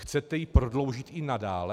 Chcete ji prodloužit i nadále?